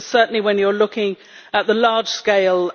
Certainly when you are looking at the large scale